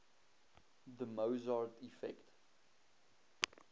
the mozart effect